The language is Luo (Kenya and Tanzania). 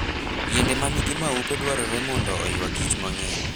Yiende ma nigi maupe dwarore mondo oywa Kich mang'eny.